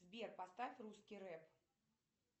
сбер поставь русский рэп